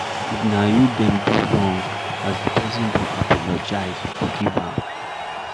If na you dem do wrong, as di person don apologize, forgive am